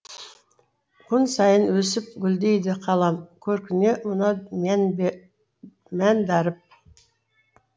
күн сайын өсіп гүлдейді қалам көркіне мынау мән дарып